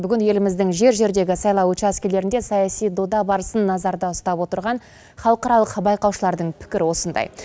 бүгін еліміздің жер жердегі сайлау учаскелерінде саяси дода барысын назарда ұстап отырған халықаралық байқаушылардың пікірі осындай